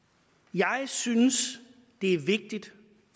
jeg synes det er vigtigt